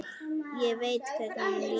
Ég veit hvernig honum líður.